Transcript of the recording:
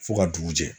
Fo ka dugu jɛ